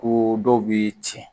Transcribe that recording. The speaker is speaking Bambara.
Ko dɔw bɛ tiɲɛ